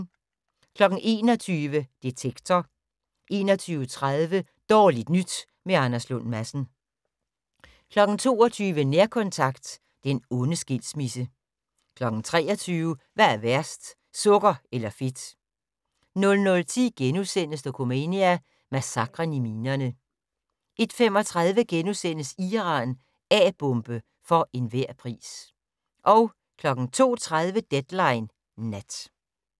21:00: Detektor 21:30: Dårligt nyt med Anders Lund Madsen 22:00: Nærkontakt - den onde skilsmisse 23:00: Hvad er værst - sukker eller fedt? 00:10: Dokumania: Massakren i minerne * 01:35: Iran - A-bombe for enhver pris * 02:30: Deadline Nat